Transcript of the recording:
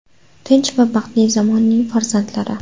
Tinch va baxtli zamonning farzandlari.